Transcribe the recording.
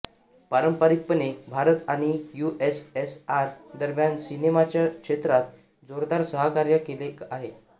पारंपारिकपणे भारत आणि यूएसएसआर दरम्यान सिनेमाच्या क्षेत्रात जोरदार सहकार्य केले गेले आहे